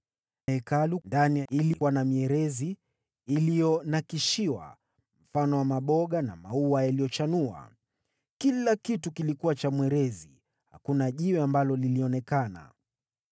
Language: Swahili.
Hekalu ndani ilikuwa ya mierezi iliyonakshiwa mifano ya maboga na maua yaliyochanua. Kila kitu kilikuwa cha mwerezi, hakuna jiwe ambalo lilionekana.